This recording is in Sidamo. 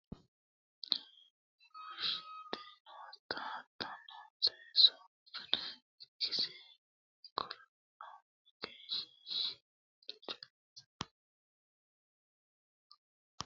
biifallite kinchu doogo aana daddalu base noota mineno hatto gobba hirrannire wodhite noota hattono seesu mine ikkasi kulanno egenshiishshi waalcho no